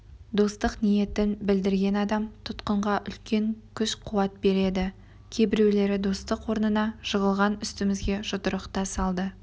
достық ниетін білдірген адам тұтқынға үлкен күш-қуат береді кейбіреулері достық орнына жығылған үстімізге жұдырық та салды